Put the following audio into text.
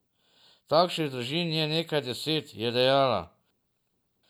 Takšnih družin je nekaj deset, je dejala.